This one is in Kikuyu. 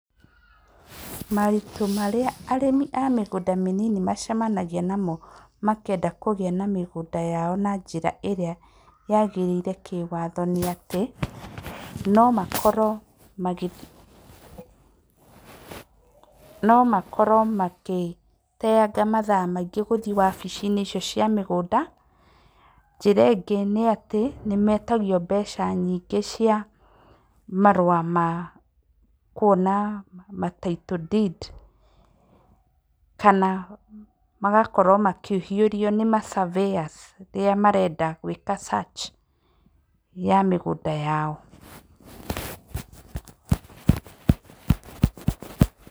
Maũritũ marĩa arĩmi a mĩgũnda mĩnini macemagia namo makĩenda kũgĩa mĩgũnda na njĩra ĩrĩa yagĩrĩire kĩwatho nĩ atĩ no makorwo magĩteanga mathaa maingĩ magĩthiĩ wabici icio cia mĩgũnda, njĩra ĩngĩ nĩ atĩ nĩmetagio mbeca nyingĩ cia marũa kwona Title Deed kana magakĩrora makĩhĩũrio nĩ ma surveyors magĩka search ya mĩgũnda yao.